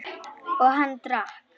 Og hann drakk.